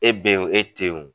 E be yen wo e te yen wo .